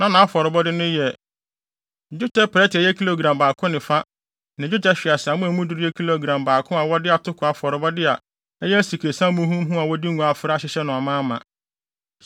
Na nʼafɔrebɔde no yɛ: dwetɛ prɛte a ɛyɛ kilogram baako ne fa ne dwetɛ hweaseammɔ a emu duru yɛ kilogram baako a wɔde atoko afɔrebɔde a ɛyɛ asikresiam muhumuhu a wɔde ngo afra ahyehyɛ no amaama.